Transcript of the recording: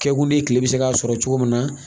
Kɛkun de ye kile bɛ se k'a sɔrɔ cogo min na